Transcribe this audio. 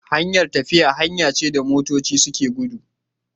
Hanyar tafiya hanya ce da motoci suke gudu